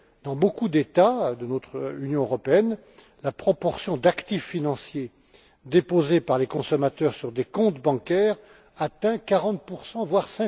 Dans beaucoup d'États de notre Union européenne, la proportion d'actifs financiers déposés par les consommateurs sur des comptes bancaires atteint 40 voire